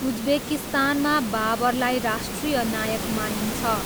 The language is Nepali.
उज्बेकिस्तानमा बाबरलाई राष्ट्रिय नायक मानिन्छ।